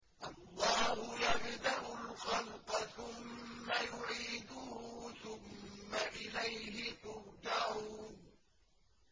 اللَّهُ يَبْدَأُ الْخَلْقَ ثُمَّ يُعِيدُهُ ثُمَّ إِلَيْهِ تُرْجَعُونَ